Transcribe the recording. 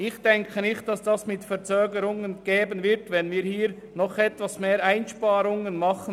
Ich denke nicht, dass es Verzögerungen geben wird, wenn wir hier zusätzliche Einsparungen vornehmen.